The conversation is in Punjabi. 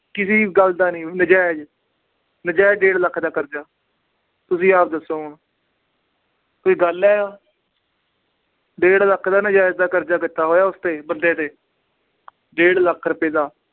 ਕਿਸੇ ਗੱਲ ਦਾ ਨੀ ਨਜਾਇਜ਼ ਨਜਾਇਜ਼ ਡੇਢ ਲੱਖ ਦਾ ਕਰਜਾ, ਤੁਸੀਂ ਆਪ ਦੱਸੋ ਹੁਣ ਕੋਈ ਗੱਲ ਹੈ ਡੇਢ ਲੱਖ ਦਾ ਨਜਾਇਜ਼ ਦਾ ਕਰਜਾ ਕੀਤਾ ਉਸ ਤੇ ਬੰਦੇ ਤੇ ਡੇਢ ਲੱਖ ਰੁਪਏ ਦਾ।